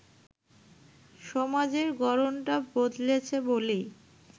সমাজের গড়নটা বদলেছে বলেই